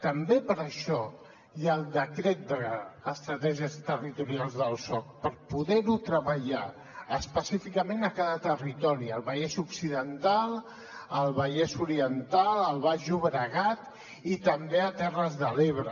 també per això hi ha el decret d’estratègies territorials del soc per poder ho treballar específicament a cada territori al vallès occidental al vallès oriental al baix llobregat i també a terres de l’ebre